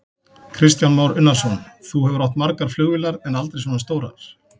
Kristján Már Unnarsson: Þú hefur átt margar flugvélar, en aldrei svona stórar?